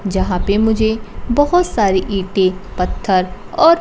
जहां पे मुझे बहोत सारी ईंटे पत्थर और--